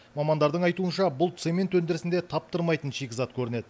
мамандардың айтуынша бұл цемент өндірісінде таптырмайтын шикізат көрінеді